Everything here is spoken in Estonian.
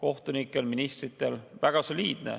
Väga soliidne!